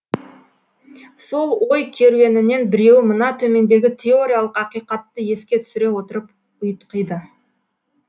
сол ой керуенінен біреуі мына төмендегі теориялық ақиқатты еске түсіре отырып ұйтқиды